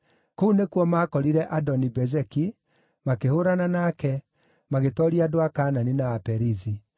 Kũu nĩkuo maakorire Adoni-Bezeki, makĩhũũrana nake, magĩtooria andũ a Kaanani na Aperizi.